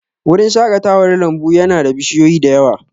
Wurin shaƙatawar lambu ya na da bishiyoyi da yawa